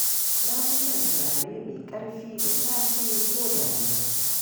Na fi son turare mai ƙarfi da safe ko da rana